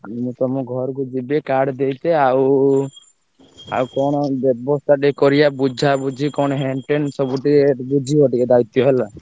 ମୁଁ ତମ ଘରକୁ ଯିବି card ଦେଇକି ଆଉ ଆଉ କଣ ବ୍ୟବସ୍ତା ଟିକେ କରିଆ ବୁଝାବୁଝି କଣ ସବୁ ହେଣ ଟେନ୍ ସବୁ ଟିକେ ବୁଝିବ ଟିକେ ଦାୟିତ୍ଵ ହେଲା।